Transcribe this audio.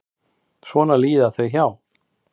Svo líða þau hjá.